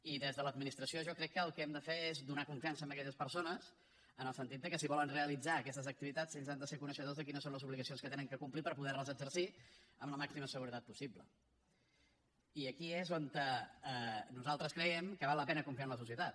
i des de l’administració jo crec que el que hem de fer és donar confiança a aquelles persones en el sentit que si volen realitzar aquestes activitats ells han de ser coneixedors de quines són les obligacions que han de complir per poderles exercir amb la màxima seguretat possible i aquí és on nosaltres creiem que val la pena confiar en la societat